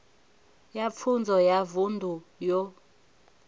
ya pfunzo ya vunḓu yo